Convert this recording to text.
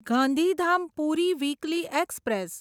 Gandhidham Puri weekly express